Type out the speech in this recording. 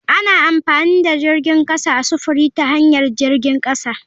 Ana amfani da jirgin kasa a sufuri ta hanyar jirgin kasa.